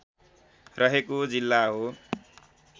रहेको जिल्ला हो